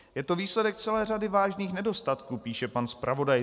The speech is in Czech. Je to výsledek celé řady vážných nedostatků, píše pan zpravodaj.